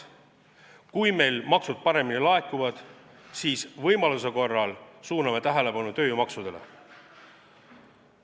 Kui meil maksud paremini laekuvad, siis võimaluse korral suuname tähelepanu tööjõumaksudele.